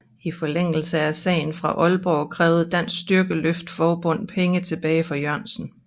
I forlængelse af sagen fra Aalborg krævede Dansk Styrkeløft Forbund penge tilbage fra Jørgensen